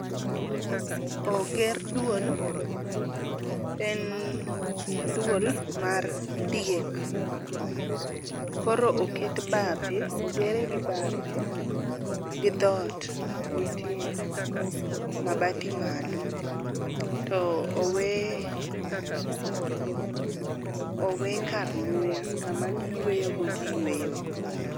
Oger duol ,en duol mar diek. Koro oket bape, ogere gi bape gi dhot nitiere mabati malo to owe , owe kar muya ,kama giyweyo go giyweyo go